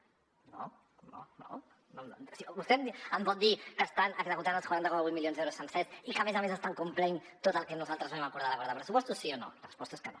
vostè em pot dir que estan executant els quaranta coma vuit milions d’euros sencers i que a més a més estan complint tot el que nosaltres vam acordar a l’acord de pressupostos sí o no la resposta és que no